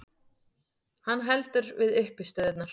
Hann heldur við uppistöðurnar.